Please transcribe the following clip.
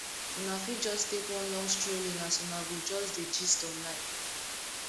una fit jus take one long strolling as una go jus dey gist on life